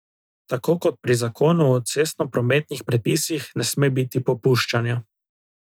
Tako kot pri zakonu o cestnoprometnih predpisih ne sme biti popuščanja.